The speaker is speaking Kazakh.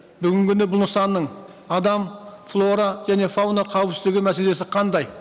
бүгінгі күні бұл нысанның адам флора және фауна қауіпсіздігі мәселесі қандай